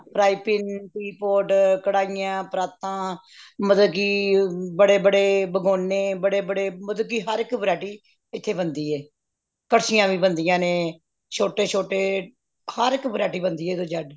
frying pan teapot ਕੜਾਹੀਆਂ ਪਰਾਤਾਂ ਮਤਲਬ ਕਿ ਬੜੇ ਬੜੇ ਭਗੌਨੇ ਬੜੇ ਬੜੇ ਮਤਲਬ ਕਿ ਹਰ variety ਇਥੇ ਬਣਦੀ ਏ ਕੜਛੀਆਂ ਵੀ ਬਣਦੀਆਂ ਨੇ ਛੋਟੇ ਛੋਟੇ ਹਰੇਕ variety ਬਣਦੀ ਏ A ਤੋਂ Z